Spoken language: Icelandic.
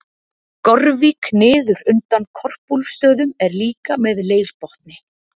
gorvík niður undan korpúlfsstöðum er líka með leirbotni